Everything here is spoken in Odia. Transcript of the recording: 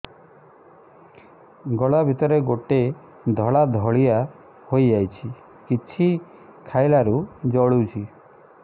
ଗଳା ଭିତରେ ଗୋଟେ ଧଳା ଭଳିଆ ହେଇ ଯାଇଛି କିଛି ଖାଇଲାରୁ ଜଳୁଛି